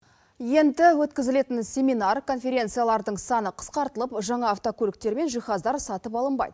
енді өткізілетін семинар конференциялардың саны қысқартылып жаңа автокөліктер мен жиһаздар сатып алынбайды